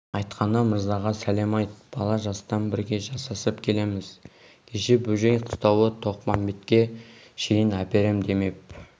айтқаны мырзаға сәлем айт бала жастан бірге жасасып келеміз кеше бөжей қыстауы тоқпамбетке шейін әперем демеп